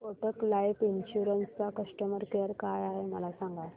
Kotak life insurance चा customer care काय आहे मला सांगा